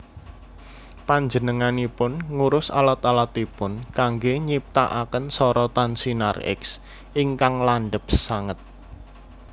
Panjenenganipun ngurus alat alatipun kanggé nyiptakaken sorotan sinar X ingkang landhep sanget